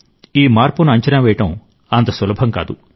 ఈ మార్పును అంచనా వేయడం అంత సులభం కాదు